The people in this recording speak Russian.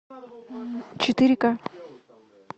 четыре ка